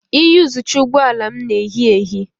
Iyuzucha ụgbọ ala m na ehi ehi.